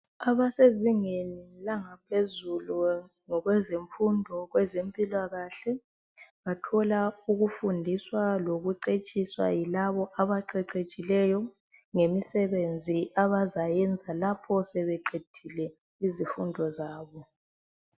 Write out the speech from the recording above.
abasezingeni langaphezulu ngokezemfundo zempilakahle ukufundiswa lokuqheqetshwa yilabo abaqheqetshileyo ngemisebenzi abazayenza lapha sebeqedile izifundo zabo